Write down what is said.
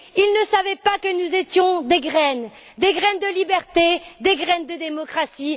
ils ne savaient pas que nous étions des graines, des graines de liberté, des graines de démocratie.